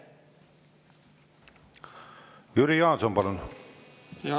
Jüri Jaanson, palun!